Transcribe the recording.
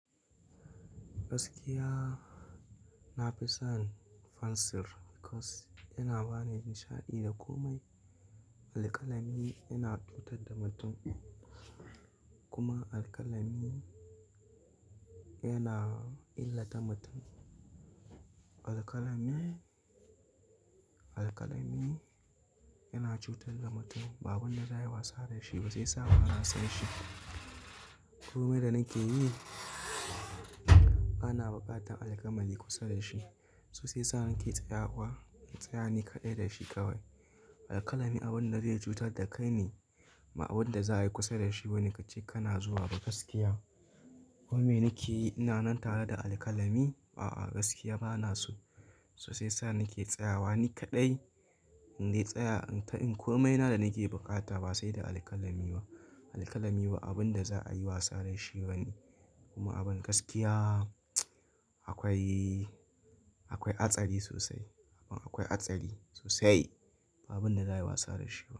Gaskiya na fi son pencil because yana bani nishaɗi da komai. Alkalami yana cutar da mutum kuma alkalami yana illata mutum. Alkalami, alkalami yana cutar da mutum. Ba abun da za a yi wasa da shi ba sai yasa ba na san shi. Komai da nake yi, bana buƙatar alkalami kusa da shi so sai sa nake tsayawa. Tsaya ni kaɗai da shi kawai. Alkalami abun da zai cutar da kai ne, ma abun da za a yi kusa da shi ba ne kace kana zuwa ba gaskiya. Komai nake yi ina nan tare da alkalami? A'a, gaskiya bana so. So shiya sa nake tsayawa ni kaɗai. Indai tsaya ta in komai na da nake bukata ba sai da alkalami ba. Alkalami ba abun da za a yi wasa da shi ba ne kuma abin gaskiya akwai, akwai hatsari sosai. Abin akwai hatsari sosai. Ba abun da za a yi wasa da shi.